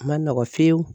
A ma nɔgɔn fiyewu